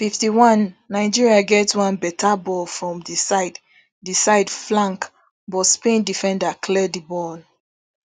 fifty-one nigeria get one beta ball from di side di side flank but spain defender clear di ball